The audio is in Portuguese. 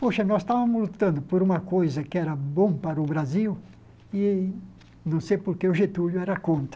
Poxa, nós estávamos lutando por uma coisa que era bom para o Brasil e não sei por que o Getúlio era contra.